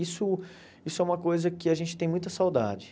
Isso isso é uma coisa que a gente tem muita saudade.